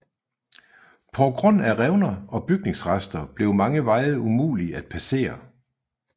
På grund af revner og bygningsrester blev mange veje umulig at passere